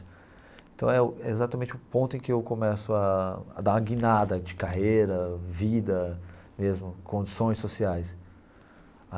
Então é o é exatamente o ponto em que eu começo a a dar a guinada de carreira, vida mesmo, condições sociais.